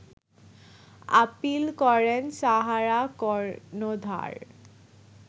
appeal করেন সাহারা কর্ণধার